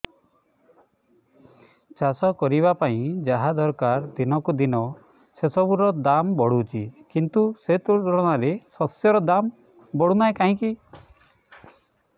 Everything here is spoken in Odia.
ଚାଷ କରିବା ପାଇଁ ଯାହା ଦରକାର ଦିନକୁ ଦିନ ସେସବୁ ର ଦାମ୍ ବଢୁଛି କିନ୍ତୁ ସେ ତୁଳନାରେ ଶସ୍ୟର ଦାମ୍ ବଢୁନାହିଁ କାହିଁକି